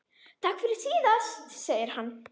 Takk fyrir síðast, segir hann.